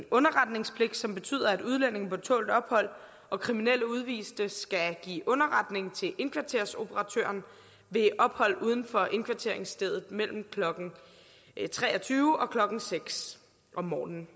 underretningspligt som betyder at udlændinge på tålt ophold og kriminelle udviste skal give underretning til indkvarteringsoperatøren ved ophold uden for indkvarteringsstedet mellem klokken tre og tyve og klokken seks om morgenen